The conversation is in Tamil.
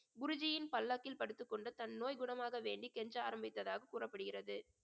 குருஜியின் பல்லாக்கில் படுத்துக் கொண்டு தன் நோய் குணமாக வேண்டி கெஞ்ச ஆரம்பித்ததாக கூறப்படுகிறது